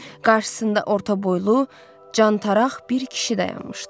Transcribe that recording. Qarşısında orta boylu, cantaraq bir kişi dayanmışdı.